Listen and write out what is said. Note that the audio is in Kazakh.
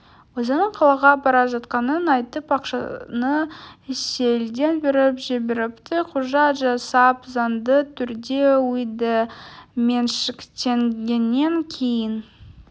өзінің қалаға бара жатқанын айтып ақшаны сейілден беріп жіберіпті құжат жасап заңды түрде үйді меншіктенгеннен кейін